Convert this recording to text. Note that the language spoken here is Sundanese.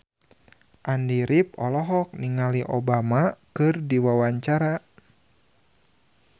Andy rif olohok ningali Obama keur diwawancara